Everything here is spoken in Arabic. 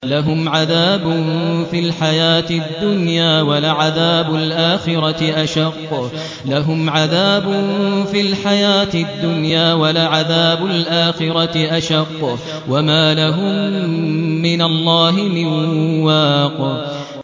لَّهُمْ عَذَابٌ فِي الْحَيَاةِ الدُّنْيَا ۖ وَلَعَذَابُ الْآخِرَةِ أَشَقُّ ۖ وَمَا لَهُم مِّنَ اللَّهِ مِن وَاقٍ